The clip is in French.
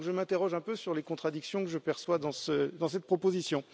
Donc, je m'interroge un peu sur les contradictions que je perçois dans cette proposition.